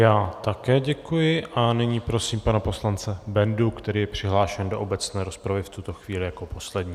Já také děkuji a nyní prosím pana poslance Bendu, který je přihlášen do obecné rozpravy v tuto chvíli jako poslední.